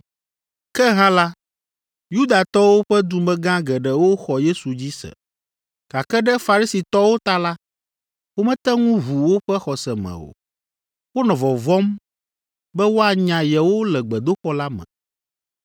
Ke hã la, Yudatɔwo ƒe dumegã geɖewo xɔ Yesu dzi se. Gake ɖe Farisitɔwo ta la, womete ŋu ʋu woƒe xɔse me o; wonɔ vɔvɔ̃m be woanya yewo le gbedoxɔ la me,